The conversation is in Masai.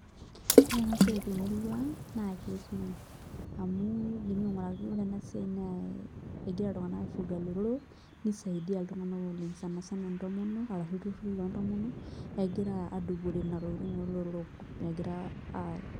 Ore ena siai temurua aang' naa ketii idimi aing'uraki iltung'anak ena siai naa egira iltung'anak aifuga ilotorrok nisiadia iltung'anak oleng' sani sana lntomonok arashu ilturruri loontomonok egira aadupore nena tokitin oolotorrok egira aa,